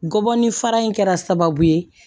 Gɔbɔni fara in kɛra sababu ye